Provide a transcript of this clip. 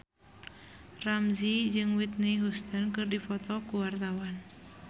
Ramzy jeung Whitney Houston keur dipoto ku wartawan